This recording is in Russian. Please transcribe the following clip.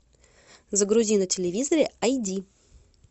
загрузи на телевизоре ай ди